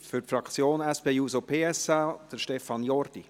Für die Fraktion SP-JUSO-PSA, Stefan Jordi.